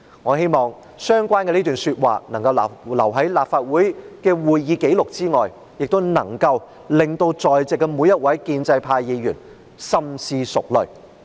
"我希望這段說話能夠留在立法會的會議紀錄內，亦能夠讓在席的每位建制派議員深思熟慮。